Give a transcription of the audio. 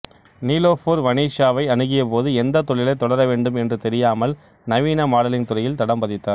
நிலோஃபர் வனீசாவை அணுகியபோது எந்தத் தொழிலைத் தொடர வேண்டும் என்று தெரியாமல் நவீன மாடலிங் துறையில் தடம் பதித்தார்